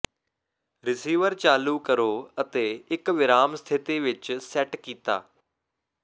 receiver ਚਾਲੂ ਕਰੋ ਅਤੇ ਇੱਕ ਵਿਰਾਮ ਸਥਿਤੀ ਵਿੱਚ ਸੈੱਟ ਕੀਤਾ